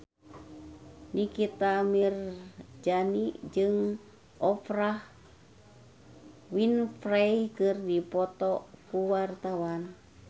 Nikita Mirzani jeung Oprah Winfrey keur dipoto ku wartawan